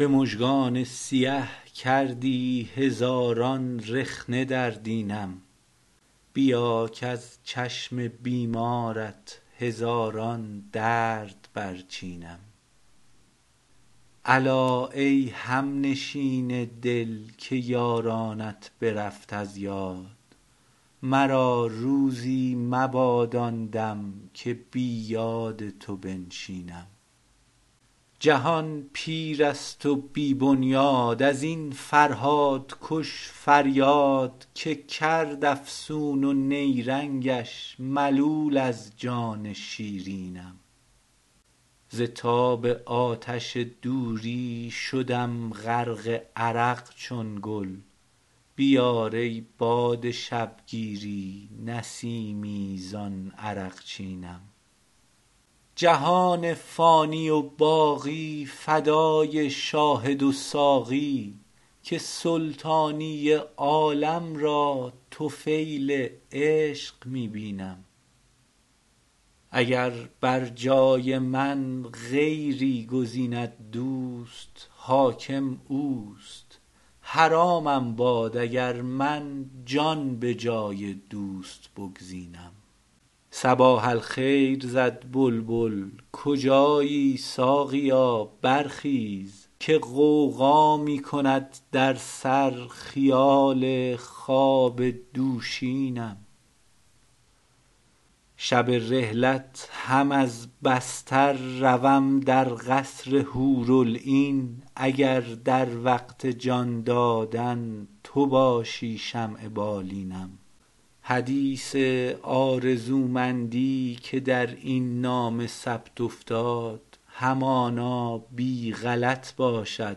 به مژگان سیه کردی هزاران رخنه در دینم بیا کز چشم بیمارت هزاران درد برچینم الا ای همنشین دل که یارانت برفت از یاد مرا روزی مباد آن دم که بی یاد تو بنشینم جهان پیر است و بی بنیاد از این فرهادکش فریاد که کرد افسون و نیرنگش ملول از جان شیرینم ز تاب آتش دوری شدم غرق عرق چون گل بیار ای باد شبگیری نسیمی زان عرقچینم جهان فانی و باقی فدای شاهد و ساقی که سلطانی عالم را طفیل عشق می بینم اگر بر جای من غیری گزیند دوست حاکم اوست حرامم باد اگر من جان به جای دوست بگزینم صباح الخیر زد بلبل کجایی ساقیا برخیز که غوغا می کند در سر خیال خواب دوشینم شب رحلت هم از بستر روم در قصر حورالعین اگر در وقت جان دادن تو باشی شمع بالینم حدیث آرزومندی که در این نامه ثبت افتاد همانا بی غلط باشد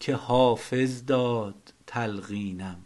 که حافظ داد تلقینم